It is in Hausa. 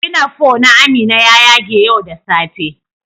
"Pinafore" na Amina ya ƴage ƴau da safe.